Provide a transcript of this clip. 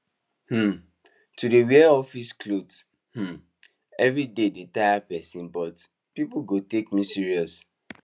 um to dey wear office clothes um everyday dey taya person but people go take me serious